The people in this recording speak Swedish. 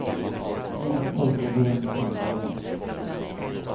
Några pojkar går runt och tänder dem igen.